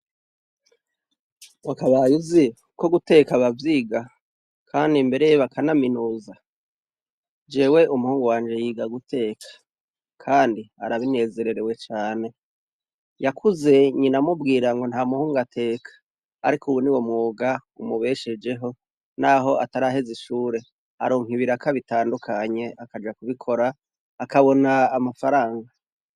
Wakabaye uziko umwuga wo guteka bavyiga Kandi mbere bakanaminuza ?jew umuhungu wanje arabinezerererewe cane yakuze nyina amubwirango ntamuhungu ateka, ariko niwe mwuga umubeshejeho naho ataraheza ishure ,aronka ibiraka bitandukanye akabona amafaranga.